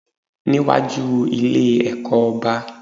Níwájú Ilé ẹ̀kọ́ oba